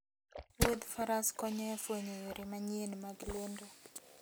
Wuodh faras konyo e fwenyo yore manyien mag lendo